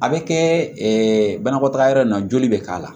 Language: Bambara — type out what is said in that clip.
A bɛ kɛ banakɔtaga yɔrɔ in na joli bɛ k'a la